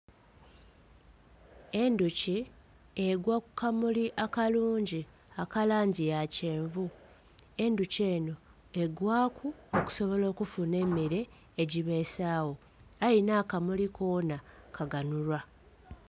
Endhuki egwa ku kamuli akalungi aka langi ya kyenvu. Endhuki enho egwaaku okusobola okufuna emmere egibeesawo, aye nh'akamuli konha kaganhulwa.